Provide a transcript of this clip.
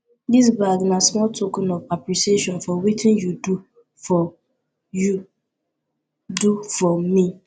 dis bag na small token of appreciation for wetin you do for you do for me